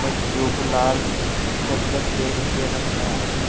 मच्छीयों को लाल चद्दर पे के रखा है।